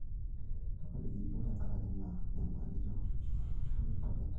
tapaliki iyiok tenkaraki ina nyamalio, kereuni token tenakata